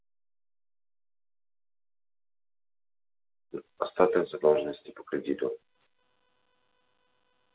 статуя задолженности по кредиту